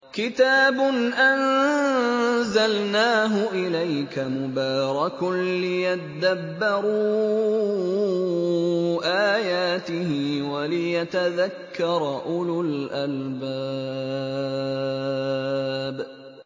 كِتَابٌ أَنزَلْنَاهُ إِلَيْكَ مُبَارَكٌ لِّيَدَّبَّرُوا آيَاتِهِ وَلِيَتَذَكَّرَ أُولُو الْأَلْبَابِ